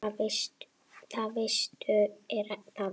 Það veistu er það ekki?